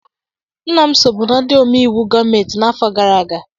Nna m sobu na ndị ome iwu gọọmentị n'afọ gara aga